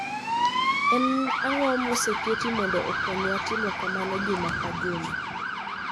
En ang'o moseketi mondo okonywa timo kamano juma ka juma